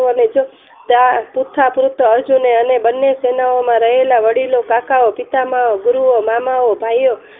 કોવરાવોને આ દૂથ પુત્ર અર્જુને અને બને સેના માં રહેલા વડીલો કાકાઓ પિતામહ ગુરુઓ મામાઓ ભાઈઓ